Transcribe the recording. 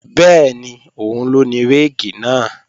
Bẹ́ẹ̀ni, òun ló ní réèkì náà